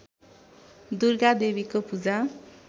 दुर्गा देवीको पूजा